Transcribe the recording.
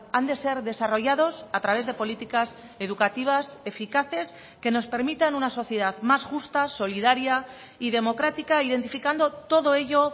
han de ser desarrollados a través de políticas educativas eficaces que nos permitan una sociedad más justa solidaria y democrática identificando todo ello